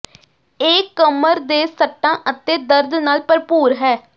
ਇਹ ਕਮਰ ਦੇ ਸੱਟਾਂ ਅਤੇ ਦਰਦ ਨਾਲ ਭਰਪੂਰ ਹੈ